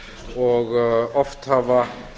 og oft hafa